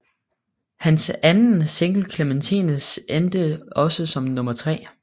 Hans anden single Clementine endte også som nummer tre